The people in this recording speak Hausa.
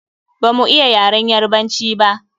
Ba mu iya yaren Yarabanci ba.